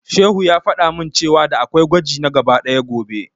Shehu ya faɗa min cewa da'a kwai gwaji na gaba ɗaya gobe.